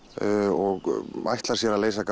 og ætlar sér að leysa